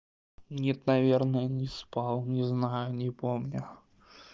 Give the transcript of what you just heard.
нет наверное не спал не знаю не помню